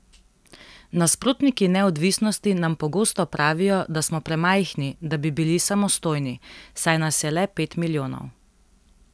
Nasprotniki neodvisnosti nam pogosto pravijo, da smo premajhni, da bi bili samostojni, saj nas je le pet milijonov.